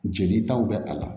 Jelitaw bɛ a la